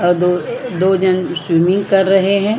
और दो जन स्विमिंग कर रहे है।